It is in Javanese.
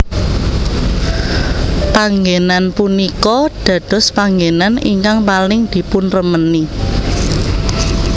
Panggénan punika dadospanggenan ingkang paling dipunremeni